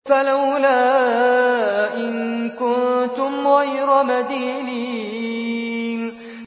فَلَوْلَا إِن كُنتُمْ غَيْرَ مَدِينِينَ